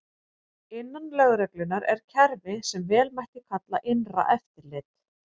Innan lögreglunnar er kerfi sem vel mætti kalla innra eftirlit.